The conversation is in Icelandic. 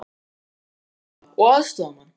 En hvað með nýjan þjálfara og aðstoðarmann?